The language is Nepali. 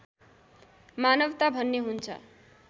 मानवता भन्ने हुन्छ